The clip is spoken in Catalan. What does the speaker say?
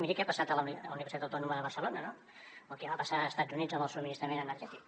miri què ha passat a la universitat autònoma de barcelona no o què va passar als estats units amb el subministrament energètic